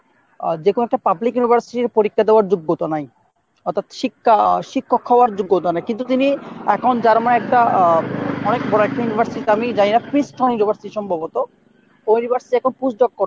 যেকোনো একটা public university র পরীক্ষা দেওয়ার যোগ্যতা নাই। অর্থাৎ শিক্ষা শিক্ষক হওয়ার যোগ্যতা নাই। কিন্তু তিনি এখন German এর একটা অনেক বড়ো একটা university তে আমি জানিনা university সম্ভবত। ওই university তে এখন post ডক করতাছেন।